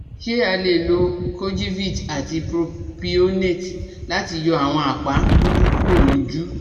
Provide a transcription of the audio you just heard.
Ṣé a lè lo kojivit àti propionate láti yọ àwọn apa um dúdú kúrò lójú?